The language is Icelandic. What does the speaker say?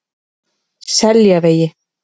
Seljavegi